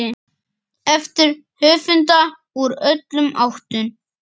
eftir höfunda úr öllum áttum.